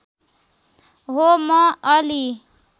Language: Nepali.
हो म अलि